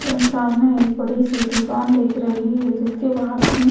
आ सामने एक बड़ी -सी दुकान दिख रही है जिसके बाहर तीन --